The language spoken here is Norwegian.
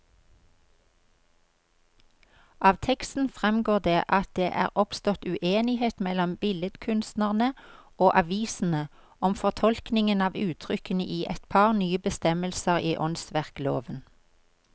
Av teksten fremgår det at det er oppstått uenighet mellom billedkunstnerne og avisene om fortolkningen av uttrykkene i et par nye bestemmelser i åndsverkloven.